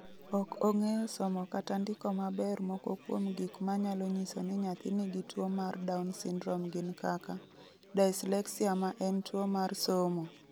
Ok ong'eyo somo kata ndiko maber Moko kuom gik manyalo nyiso ni nyathi nigi tuwo mar Down syndrome gin kaka: Dyslexia ma en tuwo mar somo.